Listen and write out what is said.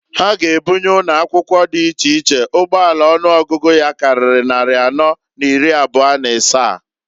Ha g' ebunye ụnọakwụkwọ dị iche iche ụgbọala ọnụọgụgụ ya karịrị nnarị anọọ n'iri ịbụa n'ịsaa.